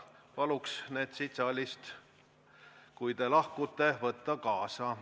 Palun need siit saalist, kui te lahkute, kaasa võtta!